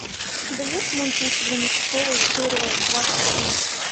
у тебя есть мульт лучше звоните солу серия двадцать один